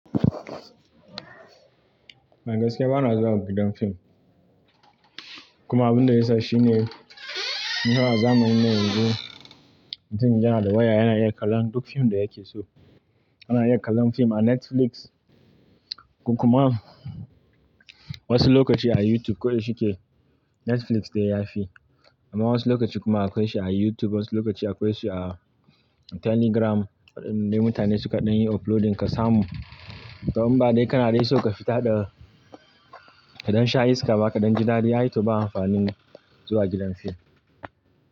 Magaskiya, bana zuwa gidan fim. Kuma abin da ya sa shine, nawa zamuyi ne yanzu? Mutun yana da waya yana iya kallon duk fim da yake so. Ana iya kallon fim a Netflix, kuma wasu lokaci a YouTube. Ko da shike Netflix dai yafi, amma wasu lokaci kuma akwai shi a YouTube, wasu lokaci akwai shi a Telegram, indai mutane suka ɗan yi uploading kasamun. To in ba dai kana dai so ka fita ɗa kaɗan sha iska ba, kaɗan ji dadi, ai to ba amfanin zuwa gidan fim.